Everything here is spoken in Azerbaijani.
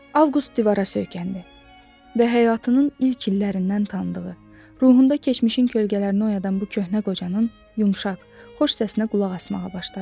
Avqust divara söykəndi və həyatının ilk illərindən tanıdığı, ruhunda keçmişin kölgələrini oyadan bu köhnə qocanın yumşaq, xoş səsinə qulaq asmağa başladı.